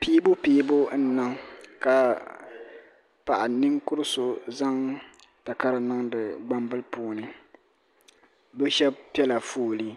piibupiibu n niŋ ka paɣa ninkuriso zaŋdi takara ni niŋdi gban bila puuni bi shɛba pɛla foli